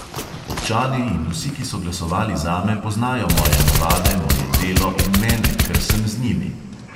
Občani in vsi, ki so glasovali zame, poznajo moje navade, moje delo in mene, ker sem z njimi.